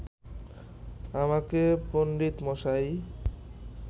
আমাকে পণ্ডিতমশাই